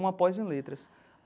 uma pós em letras.